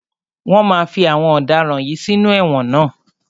Wọ́n máa fí àwọn ọ̀daràn yìí sínú ẹ̀wọ̀n ná.